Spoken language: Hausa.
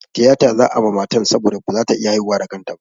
Tiyata za'a ma matan saboda ba za ta iya haihuwa da kanta ba.